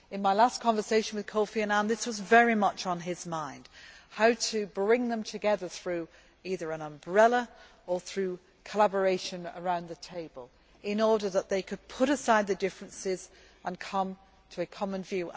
In my last conversation with Kofi Annan, this was very much on his mind how to bring them together through either an umbrella or collaboration around the table, in order that they could put aside their differences and come to a common view.